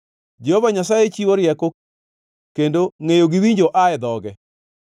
Jehova Nyasaye chiwo rieko kendo ngʼeyo gi winjo aa e dhoge.